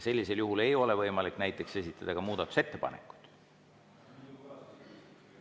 Sellisel juhul ei ole võimalik näiteks esitada ka muudatusettepanekuid.